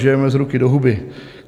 Žijeme z ruky do huby.